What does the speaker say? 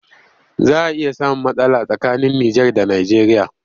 Za a iya samun matsala tsakanin Nijar da Nijeriya